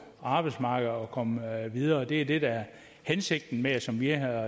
arbejdsmarkedet og komme videre det er det der er hensigten med det som vi har